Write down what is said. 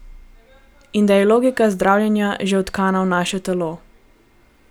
In da je logika zdravljenja že vtkana v naše telo.